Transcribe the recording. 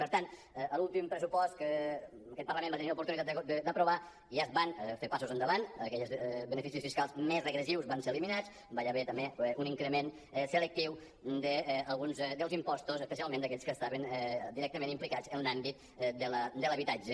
per tant a l’últim pressupost que aquest parlament va tenir l’oportunitat d’aprovar ja es van fer passos endavant aquells beneficis fiscals més regressius ja van ser eliminats hi va haver també un increment selectiu d’alguns impostos espe·cialment d’aquells que estaven directament implicats en l’àmbit de l’habitatge